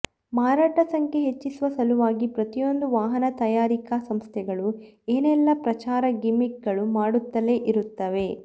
ಮಾರಾಟ ಸಂಖ್ಯೆ ಹೆಚ್ಚಿಸುವ ಸಲುವಾಗಿ ಪ್ರತಿಯೊಂದು ವಾಹನ ತಯಾರಿಕ ಸಂಸ್ಥೆಗಳು ಏನೆಲ್ಲ ಪ್ರಚಾರದ ಗಿಮಿಕ್ ಗಳು ಮಾಡುತ್ತಲೇ ಇರುತ್ತವೆ